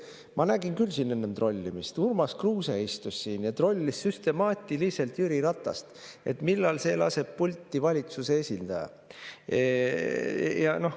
Ma nägin küll enne trollimist, Urmas Kruuse istus siin ja trollis süstemaatiliselt Jüri Ratast, et millal see laseb pulti valitsuse esindaja.